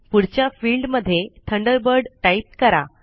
पुढच्या फिल्ड मध्ये Thunderbird type करा